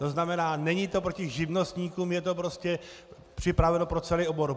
To znamená, není to proti živnostníkům, je to prostě připraveno pro celý obor.